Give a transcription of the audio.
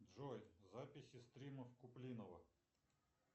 джой записи стримов куплинова